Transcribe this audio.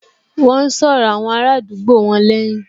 Wọ́n n sọ̀rọ̀ àwọn ará àdúgbò wọn lẹ́hìn